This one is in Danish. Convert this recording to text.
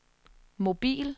mobil